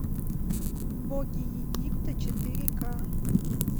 боги египта четыре к